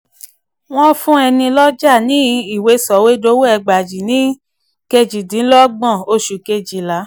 wọ́n fún ẹni lọ́jà ní ìwé sọ̀wédowó ẹgbàajì ní kejìdínlọ́gbọ̀n oṣù kejìlá.